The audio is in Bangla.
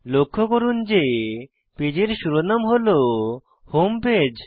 লক্ষ্য করুন যে পেজের শিরোনাম হল হোম পেজ